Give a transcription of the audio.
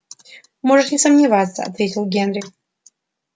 можешь не сомневаться ответил генри